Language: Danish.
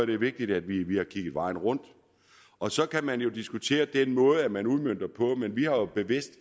det er vigtigt at vi vi har kigget hele vejen rundt og så kan man jo diskutere den måde som man udmønter det på men vi har jo bevidst